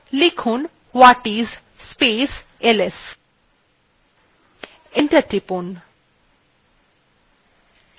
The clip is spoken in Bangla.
লিখুন whatis space ls enter টিপুন